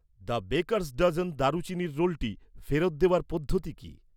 The baker's dozen দারুচিনির রোলটি ফেরত দেওয়ার পদ্ধতি কী?